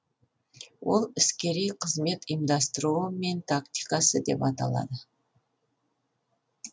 ол іскери қызмет ұйымдастыруы мен тактикасы деп аталады